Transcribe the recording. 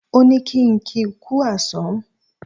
Ó ní kí ń kí kú àsán